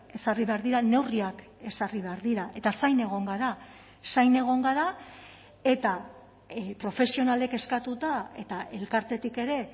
ezarri behar dira neurriak ezarri behar dira eta zain egon gara zain egon gara eta profesionalek eskatuta eta elkartetik ere